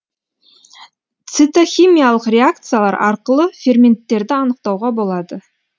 цитохимиялық реакциялар арқылы ферменттерді анықтауға болады